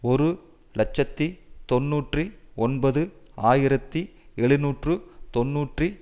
ஒரு இலட்சத்தி தொன்னூற்றி ஒன்பது ஆயிரத்தி எழுநூற்று தொன்னூற்றி